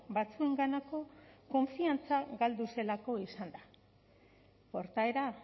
batzuenganako konfiantza galdu zelako izan da portaera